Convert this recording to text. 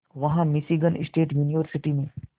वहां Michigan state university में